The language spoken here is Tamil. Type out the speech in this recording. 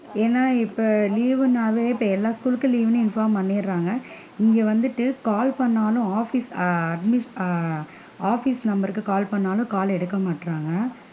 ஏன்னா இப்ப leave னாலே இப்ப எல்லா school லுக்கும் leave வுன்னு inform பண்ணிடுறாங்க, இங்க வந்துட்டு call பண்ணுனாலும் office admin ஆஹ் office number கு call பண்ணுனாலும் call எடுக்கமாட்டேன்குறாங்க.